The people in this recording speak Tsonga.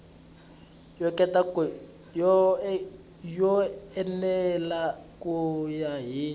yo enela ku ya hi